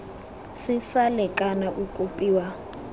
se sa lekana o kopiwa